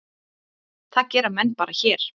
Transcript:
Það gera menn bara hér.